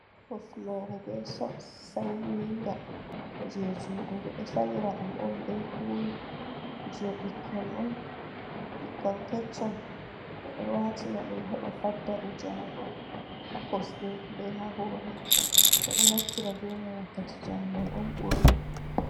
Hufnere be soks sanyinga, jei juɗe ɓeɗo sanya ɗum be ulu, je ɓikkon on, ɓikkon keccon ɓeɗo watina ɗum heɓa faddaɓe jaagol ha kusɗe be ha hore, ɓeɗo naftira bemai wakkati jaagol on ɓurna.